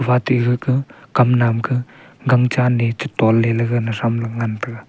wate gaka kam nam ka gang cha ne che ton le ga natram le ngan tega.